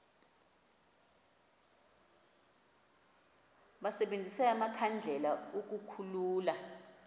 basebenzise amakhandlela ukukhulula